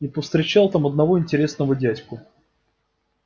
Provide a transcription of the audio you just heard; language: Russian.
и повстречал там одного интересного дядьку